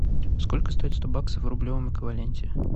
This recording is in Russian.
сколько стоит сто баксов в рублевом эквиваленте